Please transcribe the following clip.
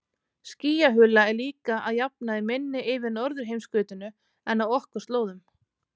Skýjahula er líka að jafnaði minni yfir norðurheimskautinu en á okkar slóðum.